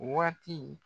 Waati